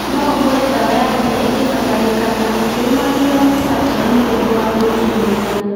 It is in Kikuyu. Noũhuhĩre dawa ya ria ĩngĩbatarĩkana ukĩrũmagĩrĩra mĩtaratara nĩguo ndũgathũkie mĩmera